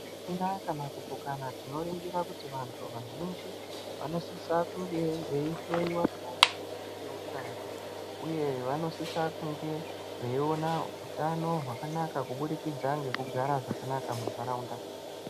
Zvisina kana kupokana tinoringira kuti vantu vazhinji vanosisa kuti vange veihloyiwa maringe ngeutano uye vanosisa kunge veiona hutano hwakanaka kubudikidza ngekugara zvakanaka muntaraunda.